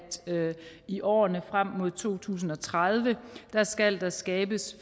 i årene frem mod to tusind og tredive skal der skabes